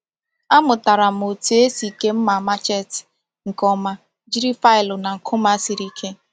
A mụtara m otu esi kee mma machete nke ọma jiri faịlụ na nkume siri ike.